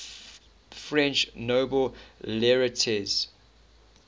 french nobel laureates